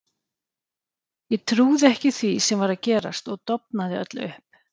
Ég trúði ekki því sem var að gerast og dofnaði öll upp.